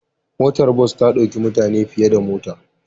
Motar bas ta ɗauki mutane fiye da mota.